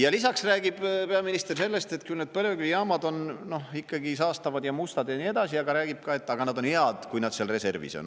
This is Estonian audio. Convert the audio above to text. Ja lisaks räägib peaminister sellest, et küll need põlevkivijaamad on ikka saastavad ja mustad ja nii edasi, aga ta räägib ka, et on hea, kui nad seal reservis on.